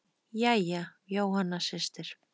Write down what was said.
Jæja, Jóhanna systir.